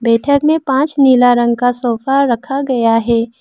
बैठक में पांच नीला रंग का सोफा रखा गया है।